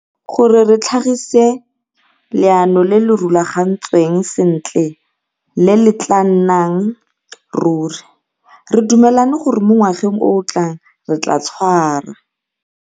Gore re tlhagise leano le le rulagantsweng sentle le le tla nnang ruri, re dumelane gore mo ngwageng o o tlang re tla tshwara